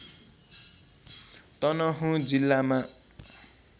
तनहुँ जिल्लामा